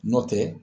Nɔntɛ